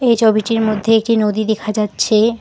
এই ছবিটির মধ্যে একটি নদী দিখা যাচ্ছে।